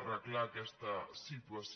arreglar aquesta situació